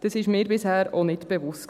Das war mir bisher auch nicht bewusst.